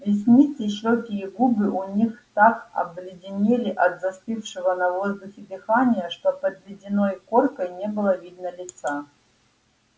ресницы щеки и губы у них так обледенели от застывшего на воздухе дыхания что под ледяной коркой не было видно лица